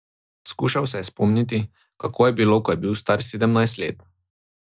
Skušal se je spomniti, kako je bilo, ko je bil star sedemnajst let.